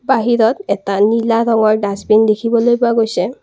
বাহিৰত এটা নীলা ৰঙৰ ডাষ্টবিন দেখিবলৈ পোৱা গৈছে।